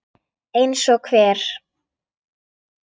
Eins og hver?